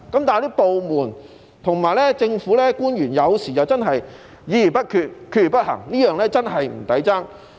但是，部門和政府官員有時又真的議而不決，決而不行，實在不值得支持。